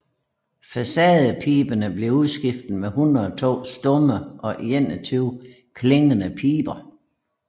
Facadepiberne blev udskiftet med 102 stumme og 21 klingende piber